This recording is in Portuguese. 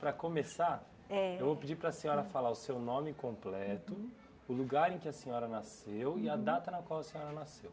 Para começar, eu vou pedir para a senhora falar o seu nome completo, o lugar em que a senhora nasceu e a data na qual a senhora nasceu.